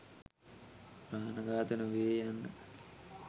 ප්‍රාණඝාතය නොවේය යන්නය.